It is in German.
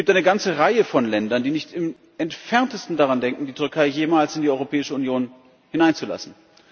Es gibt eine ganze Reihe von Ländern, die nicht im entferntesten daran denken, die Türkei jemals in die Europäische Union hineinzulassen.